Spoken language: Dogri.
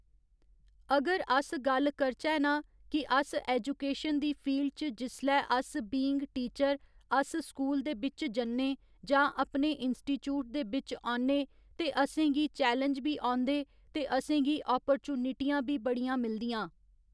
अगर अस गल्ल करचै न कि अस ऐजूकेशन दी फील्ड च जिसलै अस बीइंग टीचर अस स्कूल दे बिच्च जन्ने जां अपने इंस्टीटयूट दे बिच्च औन्ने ते असेंगी चैलैंज बी औंदे ते असेंगी आपरचूनिटियां बी बड़ियां मिलदियां।